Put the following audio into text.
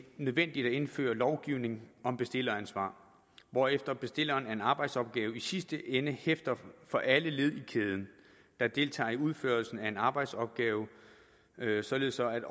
nødvendigt at indføre lovgivning om bestilleransvar hvorefter bestilleren af en arbejdsopgave i sidste ende hæfter for alle led i kæden der deltager i udførelsen af en arbejdsopgave således at